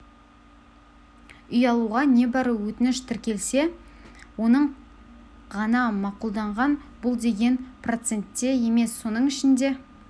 үй алуға небәрі өтініш тіркелсе оның ғана мақұлданған бұл деген процент те емес соның ішінде